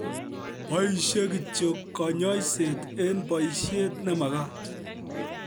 Boisie kityo kanyoiset eng' boisiet nemagat